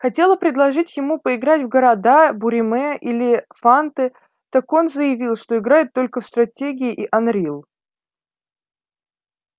хотела предложить ему поиграть в города буриме или фанты так он заявил что играет только в стратегии и анрил